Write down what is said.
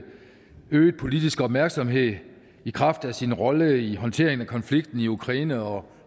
øget politisk opmærksomhed i kraft af sin rolle i håndteringen af konflikten i ukraine og